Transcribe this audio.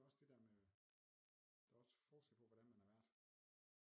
Det er jo også det der med der er også forskel på hvordan er vært